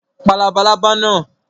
Pa labalábá náà!